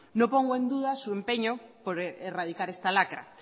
no pongo en duda su empeño por erradicar esta lacra